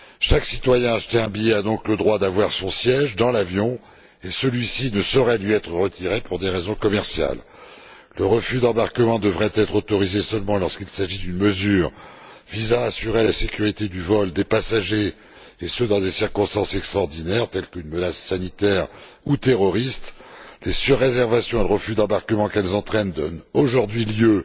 Chaque citoyen qui achète un billet a donc le droit d'avoir son siège dans l'avion, et celui ci ne saurait lui être retiré pour des raisons commerciales. Le refus d'embarquement devrait seulement être autorisé lorsqu'il s'agit d'une mesure visant à assurer la sécurité du vol, des passagers, et ce dans des circonstances extraordinaires, telles qu'une menace sanitaire ou terroriste. Les surréservations et le refus d'embarquement qu'elles entraînent donnent aujourd'hui lieu